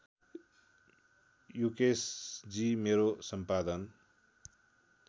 यूकेशजी मेरो सम्पादन